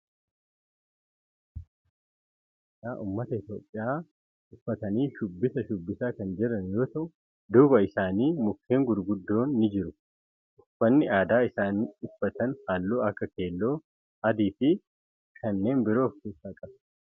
Namoonni kunneen uffata aadaa ummata itiyoophiyaa uffatanii shubbisa shubbisaa kan jiran yoo ta'u duuba isaanii mukeen gurguddoon ni jira. Uffanni aadaa isaan uffatan halluu akka keelloo, adii fi kanneen biroo of keessaa qaba.